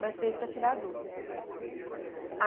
Mas fez para tirar a dúvida.